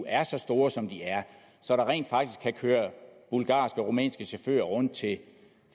er så store som de er så der rent faktisk kan køre bulgarske og rumænske chauffører rundt til